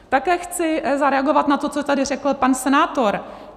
Také chci zareagovat na to, co tady řekl pan senátor.